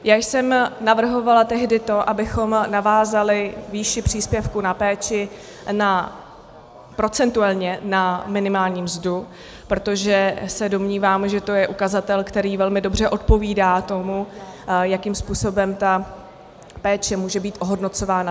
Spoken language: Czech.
Já jsem navrhovala tehdy to, abychom navázali výši příspěvku na péči procentuálně na minimální mzdu, protože se domnívám, že to je ukazatel, který velmi dobře odpovídá tomu, jakým způsobem ta péče může být ohodnocována.